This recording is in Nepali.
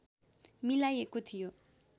मिलाइएको थियो